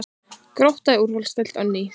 Grótta í úrvalsdeild á ný